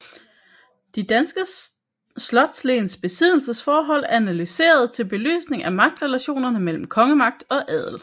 De danske slotslens besiddelsesforhold analyseret til belysning af magtrelationerne mellem kongemagt og adel